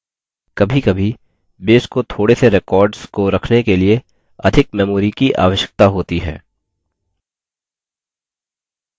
कभीकभी base को थोड़े से records को रखने के लिए अधिक memory की आवश्यकता होती है